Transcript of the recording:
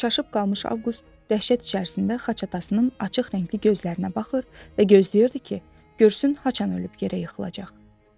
Çaşıb qalmış Avqust dəhşət içərisində xaç atasının açıq rəngli gözlərinə baxır və gözləyirdi ki, görsün haçan ölüb yerə yıxılacaq.